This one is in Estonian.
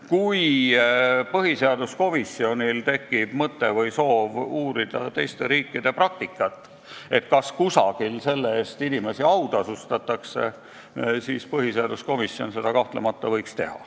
Kui põhiseaduskomisjonil tekib mõte või soov uurida teiste riikide praktikat, näiteks kas kusagil selle eest inimesi autasustatakse, siis põhiseaduskomisjon seda kahtlemata võib teha.